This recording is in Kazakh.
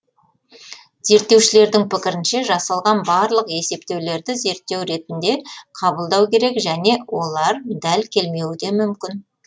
зерттеушілердің пікірінше жасалған барлық есептеулерді зерттеу ретінде қабылдау керек және олар дәл келмеуі де мүмкін